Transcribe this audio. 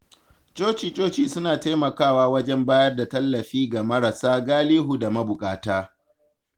Coci-coci suna taimakawa wajen bayar da tallafi ga marasa galihu da mabuƙata.